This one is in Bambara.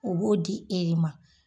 O b'o di e ma.